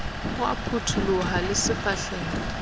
o a phuthuloha le sefahlehong